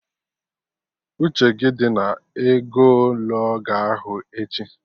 Uche gị dị na ego ele ọ ga ahụ echi!